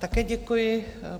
Také děkuji.